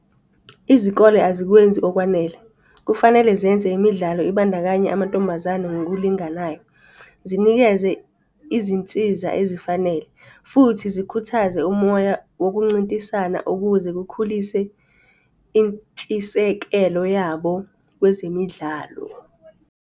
Izikole azikwenzi okwanele. Kufanele zenze imidlalo ibandakanye amantombazane ngokulinganayo. Zinikeze izinsiza ezifanele futhi zikhuthaze umoya wokuncintisana ukuze kukhulise intshisekelo yabo kwezemidlalo.